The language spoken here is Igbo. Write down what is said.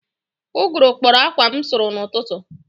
Ụgụrụ kpọrọ akwa m sụrụ n'ụtụtụ